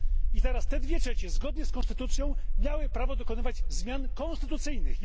I teraz te dwie trzecie zgodnie z konstytucją miały prawo dokonywać zmian konstytucyjnych.